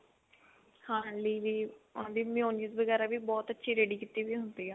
ਖਾਣ ਲਈ ਵੀ mayonnaise ਵਗੇਰਾ ਵੀ ਬਹੁਤ ਅੱਛੀ ਤਿਆਰ ਕੀਤੀ ਹੁੰਦੀ ਆ